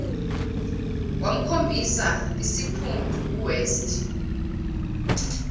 wamkhombisa isiphundu uwest